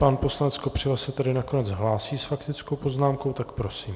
Pan poslanec Kopřiva se tedy nakonec hlásí s faktickou poznámkou, tak prosím.